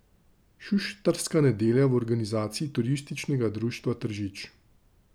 Šuštarska nedelja v organizaciji Turističnega društva Tržič.